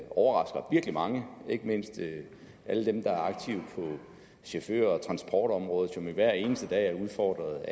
overrasker mange ikke mindst alle dem der er aktive på chauffør og transportområdet som jo hver eneste dag er udfordret